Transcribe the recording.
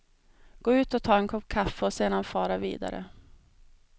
Gå ut och ta en kopp kaffe och sedan fara vidare.